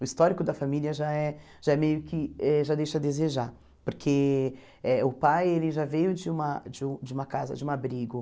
O histórico da família já é já é meio que eh já deixa a desejar, porque eh o pai ele já veio de uma de u de uma casa, de um abrigo.